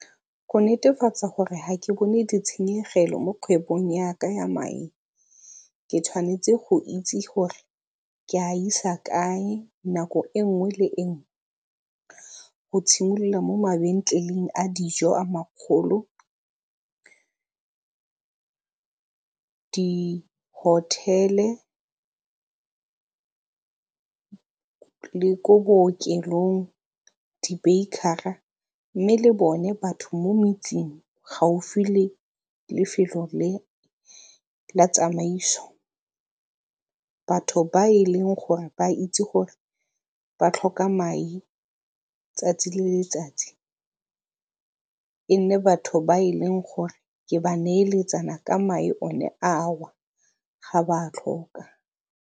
Go netefatsa gore ga ke bone ditshenyegelo mo kgwebong yaka ya mae ke tshwanetse go itse gore ke a isa kae nako e nngwe le enngwe go tshimolola mo mabentleleng a dijo a makgolo, di-hotel-e, le ko bookelong, di-baker-a, mme le bone batho mo metseng gaufi le lefelo le la tsamaiso. Batho ba e leng gore ba itse gore ba tlhoka mae 'tsatsi le letsatsi e nne batho ba e leng gore ke ba neeletsana ka mae one ga ba a tlhoka.